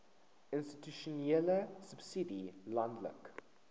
institusionele subsidie landelike